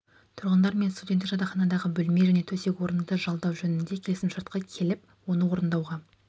тұрғындармен студенттік жатақханадағы бөлме және төсек орынды жалдау жөнінде келісімшартқа келіп оны орындауға